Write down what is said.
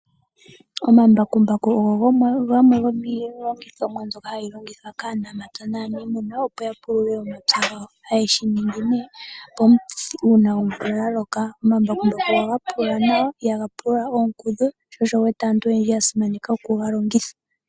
Omambakumbaku ogo gamwe gomiilongithomwa mbyoka hayi longithwa kaanamapya naaniimuna, opo ya pulule omapya gawo, haye shi ningi nee uuna omvula ya loka. Omambakumbaku ohaga pulula nawa ihaga pulula oonkudhu, sho osho wu wete aantu oyendji ya simaneka okuga longitha.